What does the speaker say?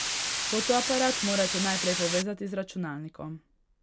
Fotoaparat morate najprej povezati z računalnikom.